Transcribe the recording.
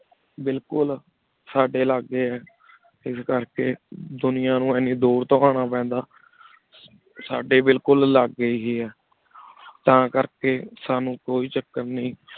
ਬਿਲਕੁਲ ਸਾਡੀ ਲਗੀ ਇਸ ਕਰ ਕੀ ਦੁਨਿਯਾ ਨੂ ਇਨੀ ਦੂਰ ਤੋ ਅਨਾ ਪੀਂਦਾ ਸਾਡੀ ਬਿਲਕੁਲ ਲਗੀ ਹੇ ਆ ਤਾ ਕਰ ਕੀ ਸਾਨੂ ਕੋਈ ਚਾਕਰ ਨਹੀ